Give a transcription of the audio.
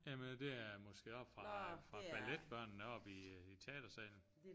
Jamen det er måske oppe fra fra balletbørnene oppe i teatersalen